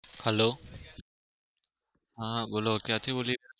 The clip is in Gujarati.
hello